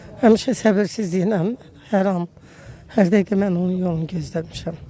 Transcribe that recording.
Həmişə səbirsizliklə hər an, hər dəqiqə mən onun yolunu gözləmişəm.